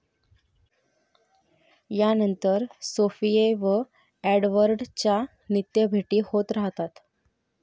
या नंतर सोफिए व एडवर्डच्या नित्य भेटी होत राहतात.